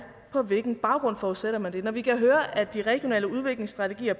på hvilken baggrund forudsætter men det når vi kan høre at de regionale udviklingsstrategier